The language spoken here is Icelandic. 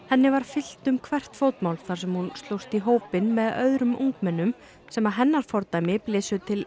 henni var fylgt um hvert fótmál þar sem hún slóst í hópinn með öðrum ungmennum sem að hennar fordæmi blésu til